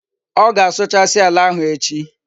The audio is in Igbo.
O ga-asuchasi ala ahu echi